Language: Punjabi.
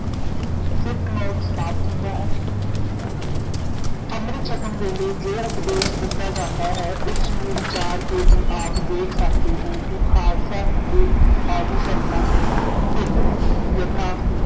footnote ਸਮਾਪਤ ਹੁੰਦਾ ਹੈ ਅੰਮ੍ਰਿਤ ਛਕਣ ਵੇਲੇ ਜੋ ਉਪਦੇਸ਼ ਦਿੱਤਾ ਜਾਂਦਾ ਹੈ ਉਸ ਨੂੰ ਵਿਚਾਰ ਕੇ ਭੀ ਆਪ ਦੇਖ ਸਕਦੇ ਹੋ ਕਿ ਖਾਲਸਾ ਹਿੰਦੂ ਆਦਿਕ ਧਰਮਾਂ ਤੋਂ ਭਿੰਨ ਹੈ ਯਥਾ